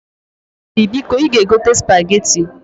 Dady, biko i ga egota Supageti.